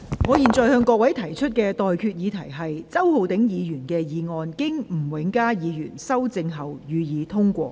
我現在向各位提出的待決議題是：周浩鼎議員動議的議案，經吳永嘉議員修正後，予以通過。